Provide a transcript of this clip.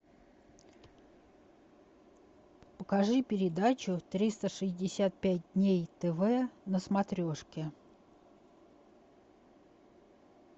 покажи передачу триста шестьдесят пять дней тв на смотрешке